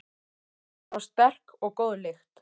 Þar var sterk og góð lykt.